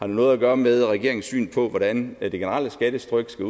noget at gøre med regeringens syn på hvordan det generelle skattetryk skal